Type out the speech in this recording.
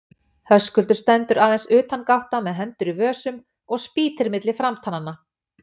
Höskuldur stendur aðeins utangátta með hendur í vösum og spýtir milli framtannanna.